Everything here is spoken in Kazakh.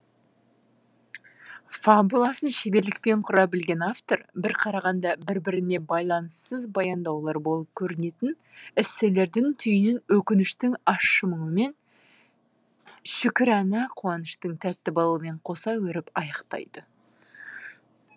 фабуласын шеберлікпен құра білген автор бір қарағанда бір біріне байланыссыз баяндаулар болып көрінетін эсселердің түйінін өкініштің ащы мұңы мен шүкірәна қуаныштың тәтті балымен қоса өріп аяқтайды